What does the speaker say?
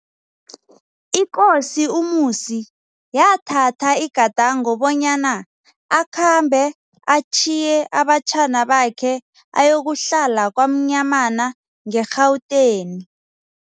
Ikosi uMusi yathatha igandango bonyana akhambe atjhiye abatjhana bakhe ayokuhlala KwaMnyamana nge-Rhawuteni.